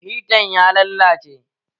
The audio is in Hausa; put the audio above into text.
Hitan ya lallace